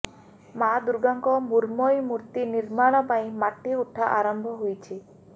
ମାଦୁର୍ଗାଙ୍କ ମୃଣ୍ମୟୀ ମୂର୍ତ୍ତି ନିର୍ମାଣ ପାଇଁ ମାଟି ଉଠା ଆରମ୍ଭ ହୋଇଛି